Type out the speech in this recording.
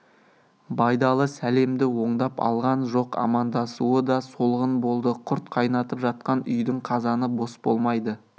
байдалы сәлемді оңдап алған жоқ амандасуы да солғын болды құрт қайнатып жатқан үйдің қазаны бос болмайды